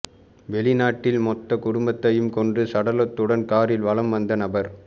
வெளிநாட்டில் மொத்த குடும்பத்தையும் கொன்று சடலத்துடன் காரில் வலம் வந்த நபர்